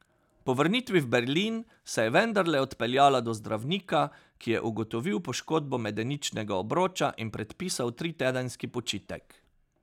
Po vrnitvi v Berlin se je vendarle odpeljala do zdravnika, ki je ugotovil poškodbo medeničnega obroča in predpisal tritedenski počitek.